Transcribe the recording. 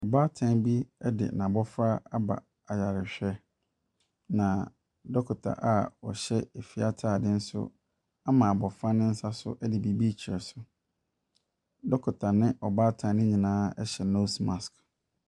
Ɔbaatan bi de n'abɔfra aba ayarehwɛ, na dɔkota a ɔhyɛ fie atade nso ama abɔfra nsa so de biribi rekyerɛ so. Dɔkota ne ɔbaatan no nyinaa hyɛ nose mask.